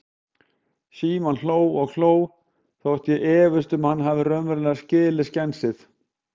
Símon hló og hló, þótt ég efist um að hann hafi raunverulega skilið skensið.